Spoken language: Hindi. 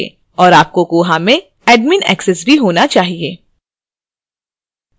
और आपको koha में admin access भी होना चाहिए